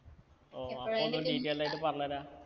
ഓ അപ്പൊ ഒന്ന് detailed ആയിട്ട് പറഞ്ഞരാ